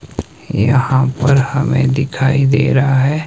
यहां पर हमें दिखाई दे रहा है।